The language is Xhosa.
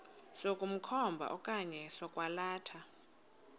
sokukhomba okanye sokwalatha